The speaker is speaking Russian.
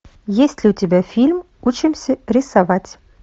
есть ли у тебя фильм учимся рисовать